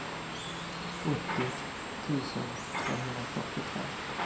åttio tusen trehundrafyrtiotre